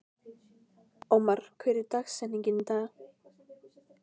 Ómar, hver er dagsetningin í dag?